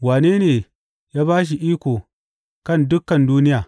Wane ne ya ba shi iko kan dukan duniya?